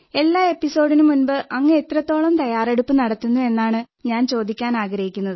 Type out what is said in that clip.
എല്ലാ എപ്പിസോഡിനും മുമ്പ് അങ്ങ് എത്രത്തോളം തയ്യാറെടുപ്പു നടത്തുന്നു എന്നാണ് ഞാൻ ചോദിക്കാനാഗ്രഹിക്കുന്നത്